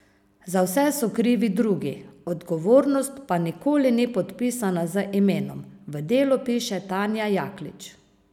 Za vse so krivi drugi, odgovornost pa nikoli ni podpisana z imenom, v Delu piše Tanja Jaklič.